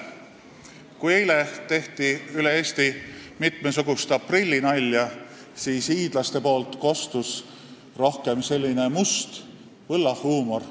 Kui eile tehti üle Eesti mitmesugust aprillinalja, siis hiidlaste poolt kostis rohkem selline must võllahuumor.